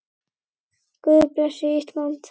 Guð blessi Ísland.